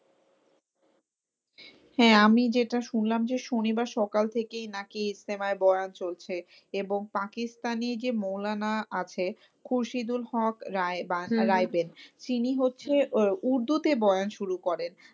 হ্যাঁ আমি যেটা শুনলাম যে, শনিবার সকাল থেকেই নাকি ইস্তেমায় বয়ান চলছে। এবং পাকিস্তানী যে মওলানা আছে খুরশিদ উল হক রায় বা রায়বেড তিনি হচ্ছে আহ উর্দুতে বয়ান শুরু করেন।